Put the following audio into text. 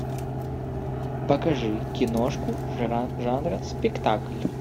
покажи киношку жанра спектакль